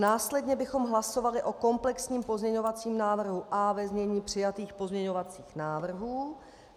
Následně bychom hlasovali o komplexním pozměňovacím návrhu A ve znění přijatých pozměňovacích návrhů.